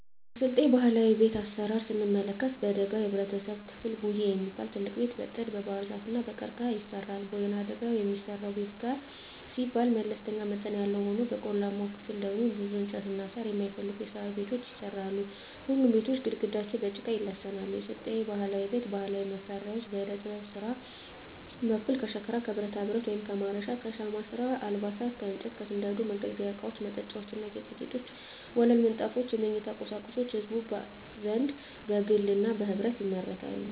የስልጤ ባህላዊ ቤት አሰራር ስንመለከት በደጋው የህብረተሰብ ክፍል ጉዬ የሚባል ትልቅ ቤት በጥድ, በባህርዛፍ እና በቀርቀሀ ይሰራል። በወይናደጋው የሚሰራው ቤት ጋር ሲባል መለስተኛ መጠን ያለው ሆኖ በቆላማው ክፍል ደግሞ ብዙ እንጨትና ሳር የማይፈልጉ የሣር ቤቶች ይሰራሉ። ሁሉም ቤቶች ግድግዳቸው በጭቃ ይለሰናሉ። የስልጤ ባህላዊ ቤት ባህላዊ መሳሪያዎች በዕደጥበብ ስራ በኩል ከሸክላ ከብረታብረት (ማረሻ) ከሻማ ስራ አልባሳት ከእንጨት ከስንደዶ የመገልገያ እቃወች መጠጫዎች ና ጌጣጌጦች ወለል ምንጣፎች የመኝታ ቁሳቁሶች በህዝቡ ዘንድ በግልና በህብረት ይመረታሉ።